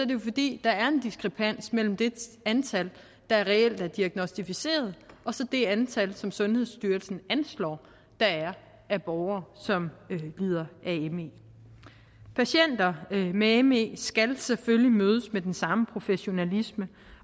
det fordi der er en diskrepans mellem det antal der reelt er diagnosticeret og så det antal som sundhedsstyrelsen anslår der er af borgere som lider af me patienter med me skal selvfølgelig mødes med den samme professionalisme